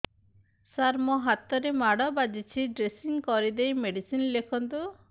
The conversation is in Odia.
ସାର ମୋ ହାତରେ ମାଡ଼ ବାଜିଛି ଡ୍ରେସିଂ କରିଦେଇ ମେଡିସିନ ଲେଖନ୍ତୁ